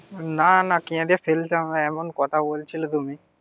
না না কেঁদে ফেলতাম না. এমন কথা বলছিলে তুমি